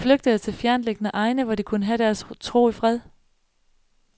De flygtede til fjerntliggende egne, hvor de kunne have deres tro i fred.